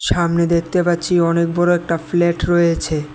সামনে দেখতে পাচ্ছি অনেক বড় একটা ফ্ল্যাট রয়েছে।